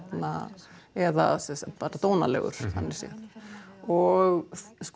eða bara dónalegur þannig séð og